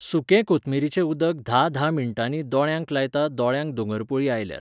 सुके कोथमिरेचें उदक धा धा मिनटांनी दोळ्यांक लायता दोळ्यांक दोंगरपुळी आयल्यार